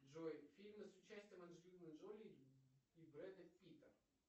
джой фильмы с участием анджелины джоли и брэда питта